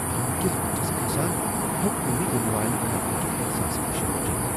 تھو٘نگہِ كِس بٗتھِس كھسان ، ہیو٘ك نہٕ مے٘ یِنہٕ والہِ خطرٕ كہِ احساسہٕ نِشہِ بچِتھ ۔